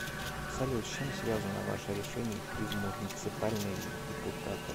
салют с чем связано ваше решение идти в муниципальные депутаты